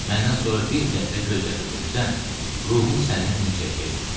Məndən sonra bir qətrə göz yaşı töksən, ruhum səndən incəyəcəkdi.